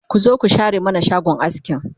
ku zo ku share mana shagon askin